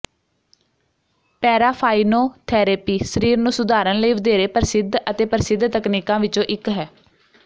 paraffinotherapy ਸਰੀਰ ਨੂੰ ਸੁਧਾਰਨ ਲਈ ਵਧੇਰੇ ਪ੍ਰਸਿੱਧ ਅਤੇ ਪ੍ਰਸਿੱਧ ਤਕਨੀਕਾਂ ਵਿੱਚੋਂ ਇੱਕ ਹੈ